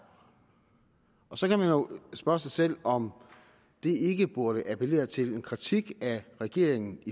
så kan man jo spørge sig selv om det ikke burde appellere til en kritik af regeringen